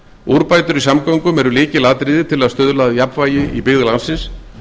úrbætur í samgöngum eru lykilatriði á að stuðla að jafnvægi í byggðum landsins